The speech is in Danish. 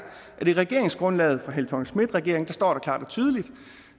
at i regeringsgrundlaget for helle thorning schmidt regeringen står der klart og tydeligt